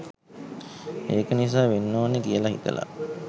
ඒක නිසා වෙන්න ඕනි කියල හිතල